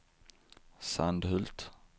Sandhult